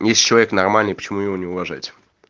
если человек нормальный почему его не уважать